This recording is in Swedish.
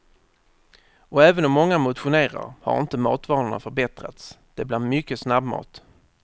Och även om många motionerar har inte matvanorna förbättras, det blir mycket snabbmat.